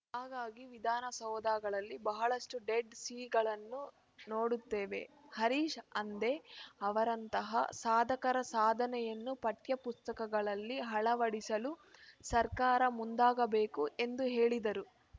ಹಾಗಾಗಿ ವಿಧಾನಸೌಧಗಳಲ್ಲಿ ಬಹಳಷ್ಟುಡೆಡ್‌ ಸೀಗಳನ್ನು ನೋಡುತ್ತೇವೆ ಹರೀಶ್‌ ಹಂದೆ ಅವರಂತಹ ಸಾಧಕರ ಸಾಧನೆಯನ್ನು ಪಠ್ಯಪುಸ್ತಕಗಳಲ್ಲಿ ಅಳವಡಿಸಲು ಸರ್ಕಾರ ಮುಂದಾಗಬೇಕು ಎಂದು ಹೇಳಿದರು